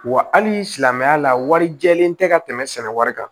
Wa hali silamɛya la warijɛlen tɛ ka tɛmɛ sɛnɛ kan